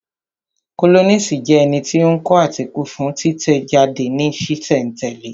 Kólọ́nisi jẹ́ ẹni tí ó ń kọ átíkù fún títẹ̀ jáde ní sísẹ̀ n tẹ̀lẹ́